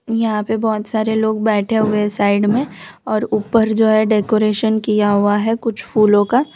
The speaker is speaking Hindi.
यहां पे बहोत सारे लोग बैठे हुए साइड में और ऊपर जो है डेकोरेशन किया हुआ है कुछ फूलों का --